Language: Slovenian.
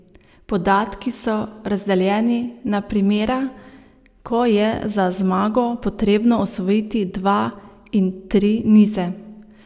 Podatki so razdeljeni na primera, ko je za zmago potrebno osvojiti dva in tri nize.